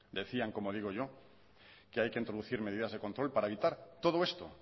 decían como digo yo que hay que introducir medidas de control para evitar todo esto